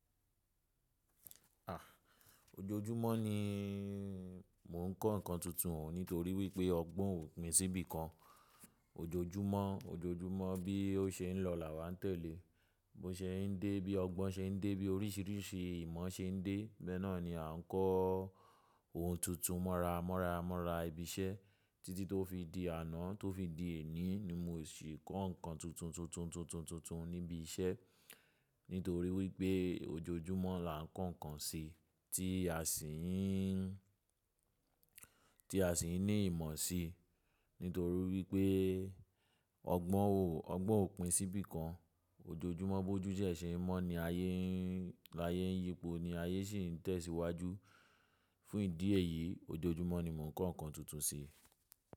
À, ojoojúmọ́ ni mó ń kọ́ nǹkan tuntun nítorí wípé ọgbọ́n ò pín sí bí kan. Ojoojúmọ́, ojoojúmọ́ bí ó ṣe ń lọ làwàá tẹ̀lé, bó ṣe ń dé, bí ọgbọ́n ṣe ń dé, bí oríṣìíríṣìí ìmọ̀ ṣe ń dé, bẹ́ẹ̀ náà ni à ń kọ́ ohun tuntun mọ́ra mọ́ra mọ́ra ibi iṣẹ́. Títí tó fi di àná tó fi di èní ni mó ṣe kọ́ nǹkan tuntun tuntun tuntun tuntun tuntun níbi iṣẹ́. Nítorí wípé ojoojúmọ́ là ń kọ́ nǹkan ṣe tí a sì ń, tí a sì ń ní ìmọ̀ si. Nítorí wípé ọgbọ́n ò, ọgbọ́n ò pín sí bí kan. Ojoojúmọ́ bojú de ẹ ṣe ń mọ́ ni ayé ń, ní ayé ń yípo ni ayé sì ń tẹ̀síwájú. Fún ìdí èyí, ojoojúmọ́ ni mò ń kọ́ nǹkan tuntun ṣi.